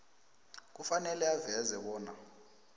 kufanele aveze bona